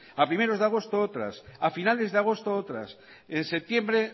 a primeros de agosto otras a finales de agosto otras en septiembre